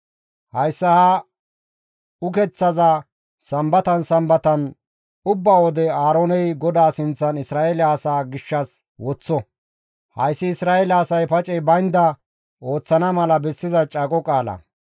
Hayssa ha ukeththaza Sambatan Sambatan ubba wode Aarooney GODAA sinththan Isra7eele asaa gishshas woththo; hayssi Isra7eele asay pacey baynda ooththana mala bessiza caaqo qaala.